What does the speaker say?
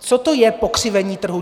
Co to je pokřivení trhu?